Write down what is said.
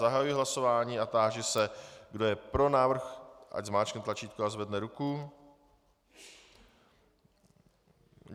Zahajuji hlasování a táži se, kdo je pro návrh, ať zmáčkne tlačítko a zvedne ruku.